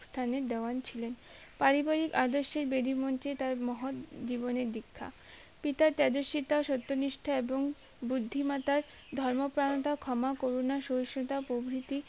স্থানে দাওয়ান ছিলেন পারিবারিক আদর্শে দেবী মঞ্চে তার মহৎ জীবনের দীক্ষা পিতা তেজস্বীতা সত্যনিষ্ঠা এবং বুদ্ধিমতার ধর্মপ্রাণতার ক্ষমা করুনা সরসতা প্রভৃতি